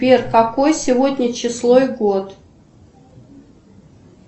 сбер какое сегодня число и год